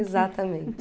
Exatamente.